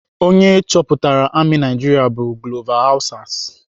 Onye chọpụtara amị Naijiria bụ Glover Hausas.